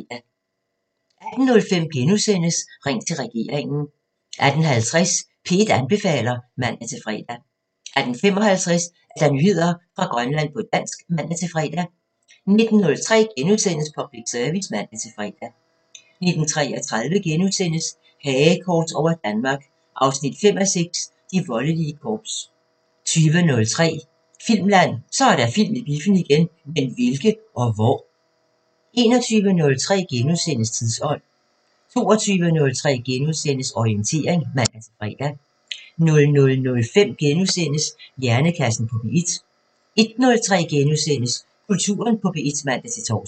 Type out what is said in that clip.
18:05: Ring til regeringen * 18:50: P1 anbefaler (man-fre) 18:55: Nyheder fra Grønland på dansk (man-fre) 19:03: Public Service *(man-fre) 19:33: Hagekors over Danmark 5:6 – De voldelige korps * 20:03: Filmland: Så er der film i biffen igen! Men hvilke? Og hvor? 21:03: Tidsånd * 22:03: Orientering *(man-fre) 00:05: Hjernekassen på P1 * 01:03: Kulturen på P1 *(man-tor)